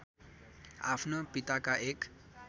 आफ्नो पिताका एक